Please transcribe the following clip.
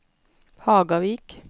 Hagavik